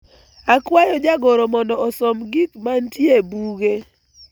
akwayo jagoro mondo osom gik mantie e buge